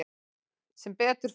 Sem betur fer.